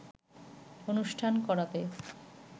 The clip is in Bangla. অনুষ্ঠান করাতে